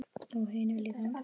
Og hinir líka.